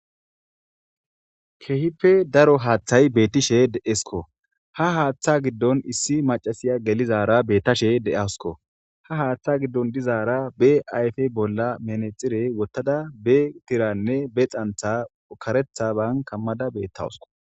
Keehippe daro haaththay beettishe deesko ha haaththa giddon issi macasiya gelizara bettashe de7asko ha haaththa giddon dizaara be ayfe bolla menexire wottada be tiranne be xantha ukaretha ban kammada bettawusko.